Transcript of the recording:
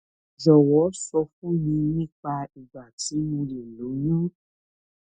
jọwọ sọ fún mi nípa ìgbà tí mo lè lóyún